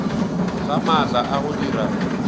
ga maatla a go dira